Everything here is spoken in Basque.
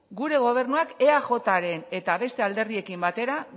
gure gobernuak eajren eta beste alderdiekin batera